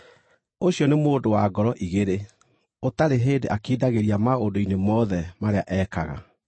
ũcio nĩ mũndũ wa ngoro igĩrĩ, ũtarĩ hĩndĩ akindagĩria maũndũ-inĩ mothe marĩa ekaga.